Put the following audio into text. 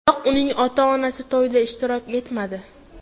Biroq uning ota-onasi to‘yda ishtirok etmadi.